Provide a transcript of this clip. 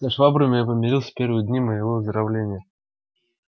со швабриным я помирился в первые дни моего выздоровления